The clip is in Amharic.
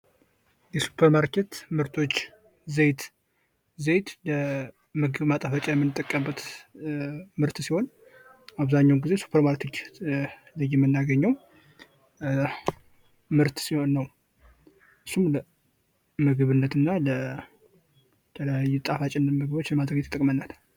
የሱፐር ማርኬት ምርቶች ዘይት ዘይት ምግብን ማጣፈጫነት የምንጠቀምበት ምርት ሲሆን አብዛኛውን ግዜ ሱፐር ማርኬት ላይ የምናገኘው ምርት ሲሆን ነው። እሱም ለምግብ እና ለተለያዩ ጣፋጭነት ምግቦች ለማዘጋጀት ይጠቅመናል።